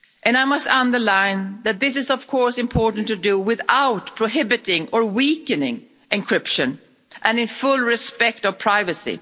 I must underline that this is, of course, important to do without prohibiting or weakening encryption, and in full respect of privacy.